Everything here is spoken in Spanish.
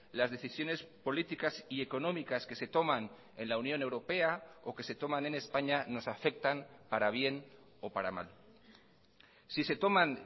las decisiones políticas y económicas que se toman en la unión europea o que se toman en españa nos afectan para bien o para mal si se toman